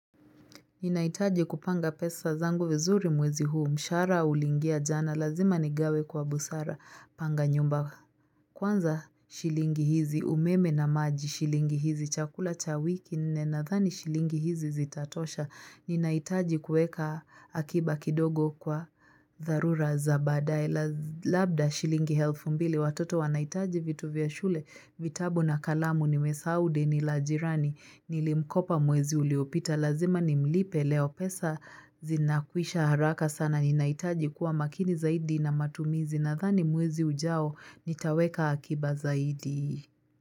Ninahitaji kupanga pesa zangu vizuri mwezi huu, mshara ulingia jana, lazima nigawe kwa busara, panga nyumba kwanza shilingi hizi, umeme na maji shilingi hizi, chakula cha wiki, nne nadhani shilingi hizi zitatosha, ninahitaji kueka akiba kidogo kwa dharura za baadae, labda shilingi helfu mbili, watoto wanahitaji vitu vya shule, vitabu na kalamu, nimesahau deni la jirani, nilimkopa mwezi uliopita, lazima nimlipe leo pesa zinakwisha haraka sana ninahitaji kuwa makini zaidi na matumizi nadhani mwezi ujao nitaweka akiba zaidi.